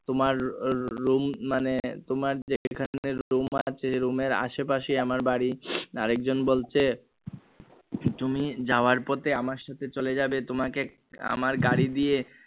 তোমার রু room মানে তোমার যেখানে room আছে room এর আশেপাশেই আমার বাড়ি আরেকজন বলছে তুমি যাওয়ার পথে আমার সাথে চলে যাবে তোমাকে আমার গাড়ি দিয়ে